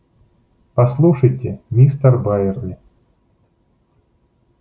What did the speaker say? послушайте мистер байерли